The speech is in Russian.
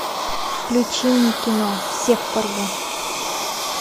включи мне кино всех порву